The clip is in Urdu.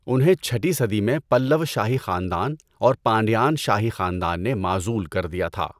انہیں چھٹی صدی میں پلّوا شاہی خاندان اور پانڈیان شاہی خاندان نے معزول کر دیا تھا۔